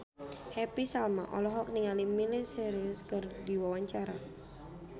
Happy Salma olohok ningali Miley Cyrus keur diwawancara